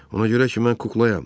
Ona görə ki mən kuklayam.